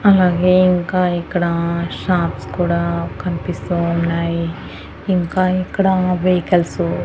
అలాగే ఇంకా ఇక్కడ షాప్స్ కూడా కనిపిస్తూ ఉన్నాయి. ఇంకా ఇక్కడ వెహికల్సు --